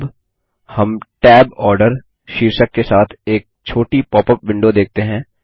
अब हम Tab order शीर्षक के साथ एक छोटी पॉपअप विंडो देखते हैं